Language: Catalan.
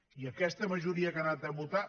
i aquesta majoria que ha anat a votar